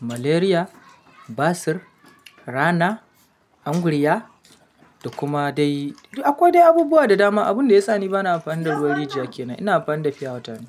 malaria, basir, rana, angurya da kuma dai. Akwai dai abubuwa da dama. Abun da ya sa ni ba na amfani da ruwan rijiya kenan, ina amfani da fiya wata ne.